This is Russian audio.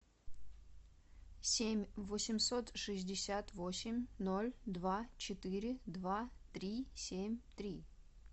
семь восемьсот шестьдесят восемь ноль два четыре два три семь три